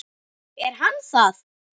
Er hann það?